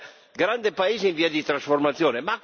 È un grande paese in via di trasformazione.